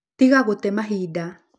Tiga gũte mahinda